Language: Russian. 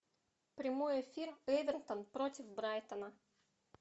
прямой эфир эвертон против брайтона